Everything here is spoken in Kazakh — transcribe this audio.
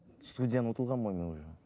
студияны ұтылғанмын ғой мен уже